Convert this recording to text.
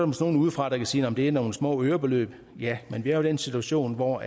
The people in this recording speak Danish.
måske nogle udefra der kan sige at det er nogle små ørebeløb ja men vi er den situation hvor